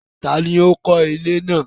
Tani ó kó ilé náà?